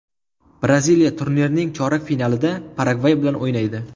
Braziliya turnirning chorak finalida Paragvay bilan o‘ynaydi.